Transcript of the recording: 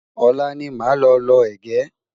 olá ní má ló ló ẹgẹ